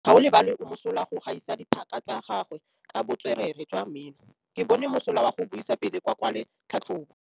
Gaolebalwe o mosola go gaisa dithaka tsa gagwe ka botswerere jwa mmino. Ke bone mosola wa go buisa pele o kwala tlhatlhobô.